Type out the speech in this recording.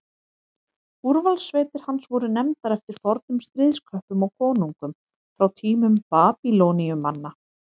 úrvalssveitir hans voru nefndar eftir fornum stríðsköppum og konungum frá tímum babýloníumanna